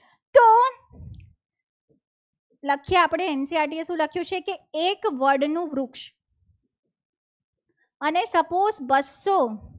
આપણે ncert એ શું લખ્યું છે. કે એક વડ નું વૃક્ષ અને suppose વસ્તુ